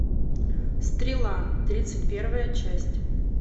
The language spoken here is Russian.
стрела тридцать первая часть